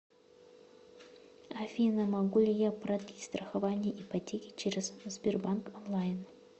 афина могу ли я продлить страхование ипотеки через сбербанк онлайн